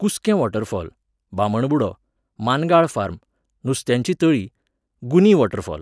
कुस्कें waterfall, Bamanbudo, Mangal farm, नुस्त्यांचीं तळीं, गुनी वॉटरफॉल